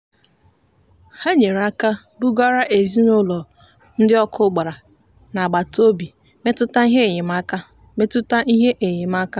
ha nyere aka bugara ezinụụlọ ndị ọkụ gbara n'agbataobi metụta ihe enyemaka. metụta ihe enyemaka.